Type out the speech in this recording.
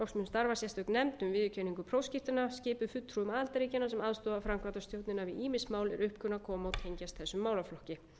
starfa sérstök nefnd um viðurkenningu prófskírteina skipuð fulltrúum aðildarríkjanna sem aðstoða mun framkvæmdastjórnina við ýmis mál er upp kunna að koma og tengjast þessum málaflokki